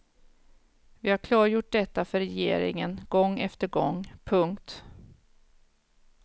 Vi har klargjort detta för regeringen gång efter gång. punkt